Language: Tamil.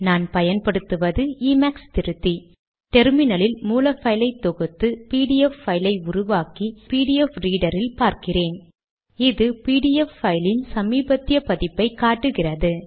அவை லேடக் மூலம் டைப் செட் செய்யும் மூன்று முக்கிய நிலைகள் சோர்ஸ் பைல் உருவாக்குவது பிடிஎஃப் பைல் உருவாக்க கம்பைல் செய்வது